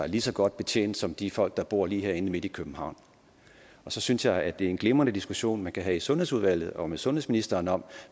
lige så godt betjent som de folk der bor lige herinde midt i københavn og så synes jeg det er en glimrende diskussion man kan have i sundhedsudvalget og med sundhedsministeren om